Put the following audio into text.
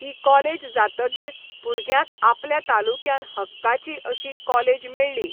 हि college जातगीर भुरग्यांक आपल्या तालुक्यान हक्काची अशी काॅलेज मेळ्ळी